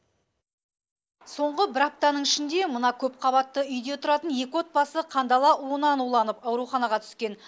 соңғы бір аптаның ішінде мына көпқабатты үйде тұратын екі отбасы қандала уынан уланып ауруханаға түскен